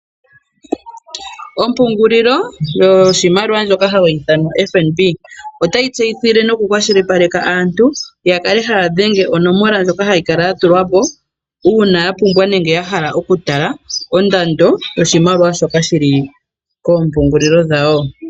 Ompungulilo yoshimaliwa ndjoka hayi ithanwa FNB, otayi tseyithile nokukwashilipaleka aantu ya kale haya dhenge onomola ndjoka hayi kala yatulwa po uuna ya pumbwa nenge ya hala okutala ondando yoshimaliwa shoka shili koompungulilo dhawo.